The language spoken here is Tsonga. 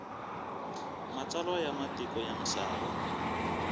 matsalwa ya matiko ya misava